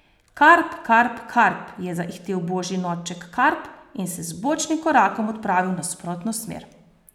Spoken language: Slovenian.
Karp, Karp, Karp, je zaihtel Božji norček Karp in se z bočnim korakom odpravil v nasprotno smer.